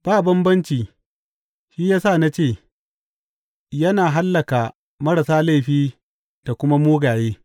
Ba bambanci; shi ya sa na ce, Yana hallaka marasa laifi da kuma mugaye.’